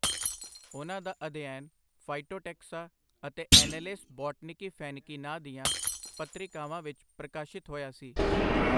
ਉਨ੍ਹਾਂ ਦਾ ਅਧਿਐਨ ਫ਼ਾਈਟੋਟੈਕਸਾ ਅਤੇ ਐਨੇਲੇਸ ਬੌਟਨਿਕੀ ਫ਼ੈਨਿਕੀ ਨਾਂਅ ਦੀਆਂ ਪੱਤ੍ਰਿਕਾਵਾਂ ਵਿੱਚ ਪ੍ਰਕਾਸ਼ਿਤ ਹੋਇਆ ਸੀ।